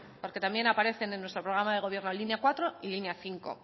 porque también aparecen en nuestro programa de gobierno línea cuatro y línea cinco